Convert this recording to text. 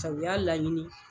Sabu u y'a laɲini